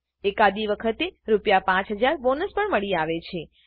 એકાદી વખતે રૂ5000 બોનસ પણ મળી આવે છે